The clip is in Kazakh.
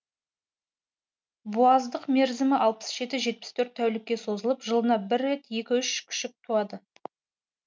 буаздық мерзімі алпыс жеті жетпіс төрт тәулікке созылып жылына бір рет екі үш күшік туады